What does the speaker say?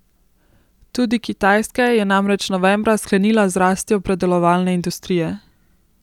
Tudi Kitajska je namreč novembra sklenila z rastjo predelovalne industrije.